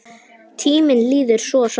Tíminn líður svo hratt!